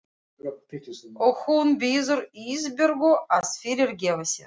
Og hún biður Ísbjörgu að fyrirgefa sér.